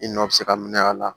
I nɔ bɛ se ka minɛ a la